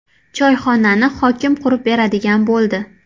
Choyxonani hokim qurib beradigan bo‘ldi.